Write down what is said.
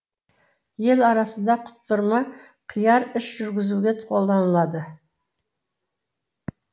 ел арасында құтырма қияр іш жүргізуге қолданылады